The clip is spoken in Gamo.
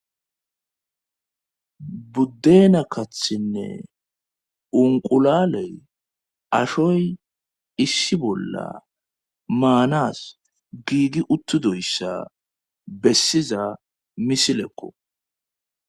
Buddeena kathinne unqulaley ashoy issi bolla maanas giigi uttudoyssa bessiza misilekko.